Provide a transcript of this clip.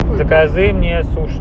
закажи мне суши